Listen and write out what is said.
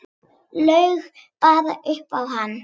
Laug bara upp á hann.